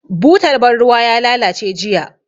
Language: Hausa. Butar ban ruwa ya lalace jiya.